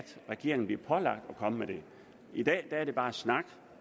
regeringen eventuelt bliver pålagt at komme med det i dag er det bare snak